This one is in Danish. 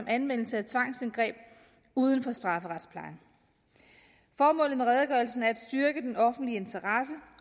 anvendelse af tvangsindgreb uden for strafferetsplejen formålet med redegørelsen er at styrke den offentlige interesse